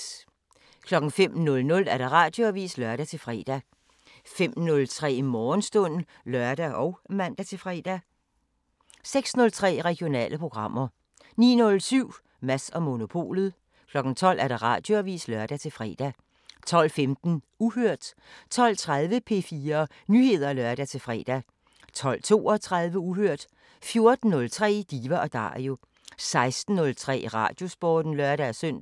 05:00: Radioavisen (lør-fre) 05:03: Morgenstund (lør og man-fre) 06:03: Regionale programmer 09:07: Mads & Monopolet 12:00: Radioavisen (lør-fre) 12:15: Uhørt 12:30: P4 Nyheder (lør-fre) 12:32: Uhørt 14:03: Diva & Dario 16:03: Radiosporten (lør-søn)